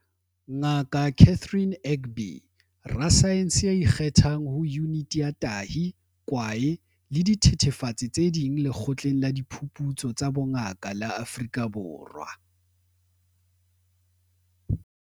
Ngaka Catherine Egbe, rasaense ya ikgethang ho Yuniti ya Tahi, Kwae le Dithethefatsi tse Ding Lekgotleng la Diphuputso tsa Bongaka la Afrika Borwa.